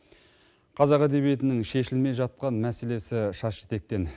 қазақ әдебиетінің шешілмей жатқан мәселесі шаш етектен